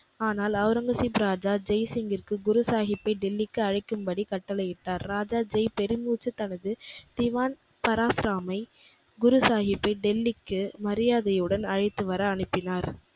ஆனால் ஒளரங்கசீப் ராஜா ஜெய்சிங்கிற்கு குருசாகிப்பை டெல்லிக்கு அழைக்கும்படி கட்டளையிட்டார். ராஜா ஜெய் பெருமூச்சு தனது திவான் பராசுராமை, குருசாகிப்பை டெல்லிக்கு மரியாதையுடன் அழைத்து வர அனுப்பினார்.